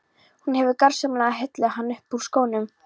Hún hefur gersamlega heillað hann upp úr skónum.